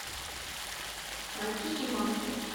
мальки и мамки